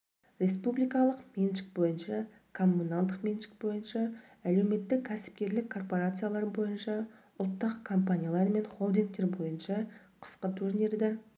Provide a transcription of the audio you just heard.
республикалық меншік бойынша коммуналдық меншік бойынша әлеуметтік-кәсіпкерлік корпарациялар бойынша ұлттық компаниялар мен холдингтер бойынша қысқы турнирді